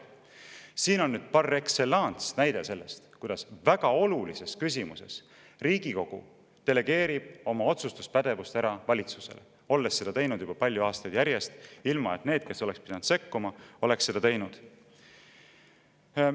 Siin on nüüd par excellence näide sellest, kuidas väga olulises küsimuses Riigikogu delegeerib oma otsustuspädevust ära valitsusele, olles seda teinud juba palju aastaid järjest, ilma et need, kes oleks pidanud sekkuma, oleks seda teinud.